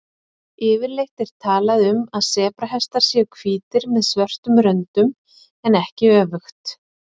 Yfirleitt er talað um að sebrahestar séu hvítir með svörtum röndum en ekki öfugt.